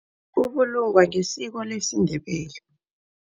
Ubulungwa ngesiko lesiNdebele.